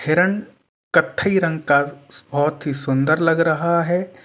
हिरण कथई रंग का बहुत ही सुन्दर लग रहा है।